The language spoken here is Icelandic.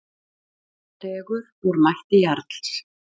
Dregur úr mætti Jarls